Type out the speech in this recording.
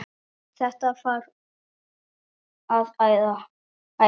Þetta þarf að æfa.